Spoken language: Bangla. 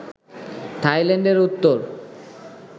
থাইল্যান্ডের উত্তর